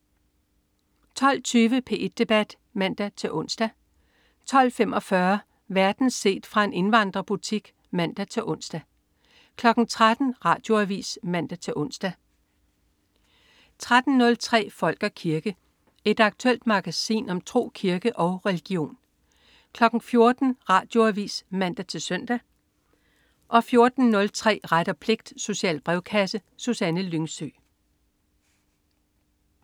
12.20 P1 debat (man-ons) 12.45 Verden set fra en indvandrerbutik (man-ons) 13.00 Radioavis (man-ons) 13.03 Folk og kirke. Et aktuelt magasin om tro, kirke og religion 14.00 Radioavis (man-søn) 14.03 Ret og pligt. Social brevkasse. Susanne Lyngsø